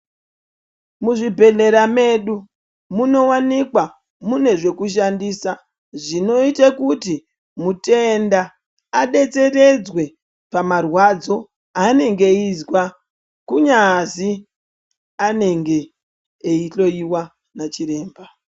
Muzvibhedhlera medu munowanikwa mune zvekushandisa zvinoita kuti mutenda adetseredzwe pamarwadzo anengeeyizwa kunyazi anenge eyi hloyiwa nachiremba.